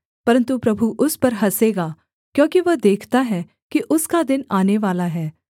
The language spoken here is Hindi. परन्तु प्रभु उस पर हँसेगा क्योंकि वह देखता है कि उसका दिन आनेवाला है